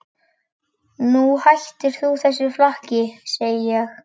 Nú hættir þú þessu flakki, segi ég!